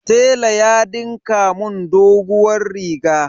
Tela ya dinka mun doguwar riga.